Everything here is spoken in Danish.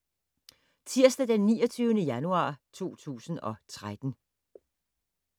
Tirsdag d. 29. januar 2013